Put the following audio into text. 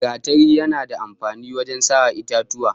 Gatari yana da amfani wajen saran itatuwa